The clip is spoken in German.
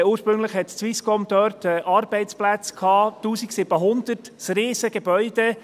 Ursprünglich hatte die Swisscom dort 1700 Arbeitsplätze, ein riesiges Gebäude.